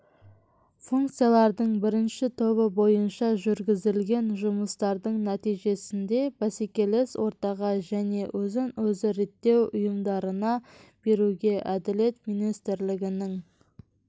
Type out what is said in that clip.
функциялардың бірінші тобы бойынша жүргізілген жұмыстардың нәтижесінде бәсекелес ортаға және өзін-өзі реттеу ұйымдарына беруге әділет министрлігінің